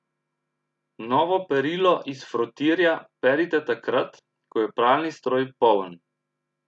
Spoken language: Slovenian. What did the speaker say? Novo perilo iz frotirja perite takrat, ko je pralni stroj poln.